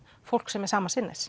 fólk sem er sama sinnis